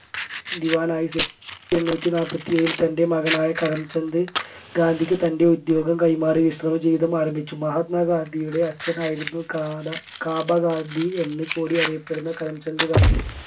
ദിവാനായി സേവി ആയിരത്തി എണ്ണൂറ്റി നാൽപ്പത്തി ഏഴിൽ തൻെറ മകനായ കരം ചന്ദ് ഗാന്ധിക്ക് തൻെറ ഉദ്യോഗം കൈമാറി വിശ്രമജീവിതം ആരംഭിച്ചു. മഹാത്മാ ഗാന്ധിയുടെ അച്ഛനായിരുന്നു കാട കാബ ഗാന്ധി എന്ന് കൂടി അറിയപ്പെടുന്ന കരംചന്ദ് ഗാന്ധി